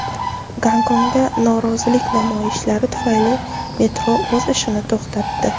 Gonkongda norozilik namoyishlari tufayli metro o‘z ishini to‘xtatdi.